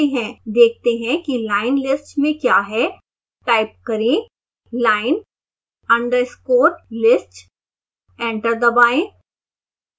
देखते हैं कि line_list में क्या है